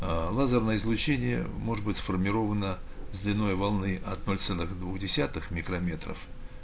аа лазерное излучение может быть сформировано с длиной волны от ноль целых двух десятых микрометров